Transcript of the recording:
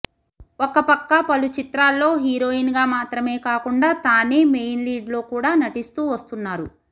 ఒక పక్క పలు చిత్రాల్లో హీరోయిన్ గా మాత్రమే కాకుండా తానే మెయిన్ లీడ్ లో కూడా నటిస్తూ వస్తున్నారు